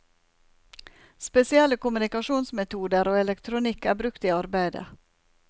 Spesielle kommunikasjonsmetoder og elektronikk er brukt i arbeidet.